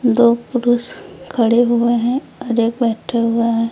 दो पुरुष खड़े हुए हैं और एक बैठा हुआ है।